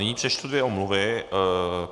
Nyní přečtu dvě omluvy.